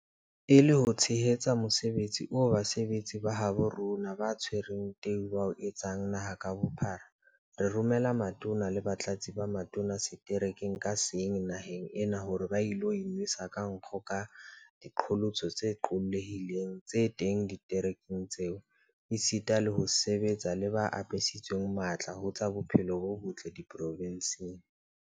E le ho tshehetsa mosebetsi oo basebetsi ba habo rona ba tshwereng teu ba o etsang naha ka bophara, re romela Matona le Batlatsi ba Matona seterekeng ka seng naheng ena hore ba ilo inwesa ka nkgo ka diqholotso tse qollehileng tse teng diterekeng tseo, esita le ho sebetsa le ba apesitsweng matla ho tsa bophelo bo botle diprovenseng.